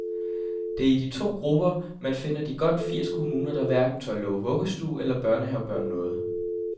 Det er i de to grupper, man finder de godt firs kommuner, der hverken tør love vuggestue eller børnehavebørn noget.